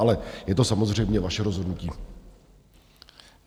Ale je to samozřejmě vaše rozhodnutí.